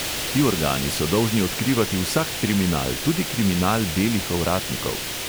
Ti organi so dolžni odkrivati vsak kriminal, tudi kriminal belih ovratnikov.